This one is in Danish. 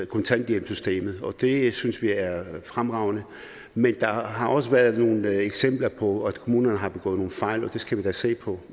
kontanthjælpssystemet og det synes vi er fremragende men der har også været nogle eksempler på at kommunerne har begået nogle fejl og det skal vi da se på